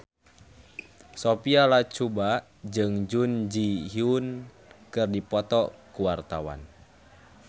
Sophia Latjuba jeung Jun Ji Hyun keur dipoto ku wartawan